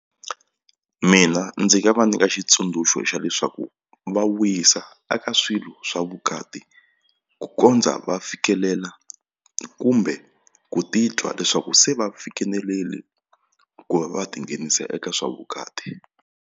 Mina ndzi nga va nyika xitsundzuxo xa leswaku va wisa eka swilo swa vukati ku kondza va fikelela kumbe ku titwa leswaku se va fikelerile kumbe va tinghenisa eka swa vukati.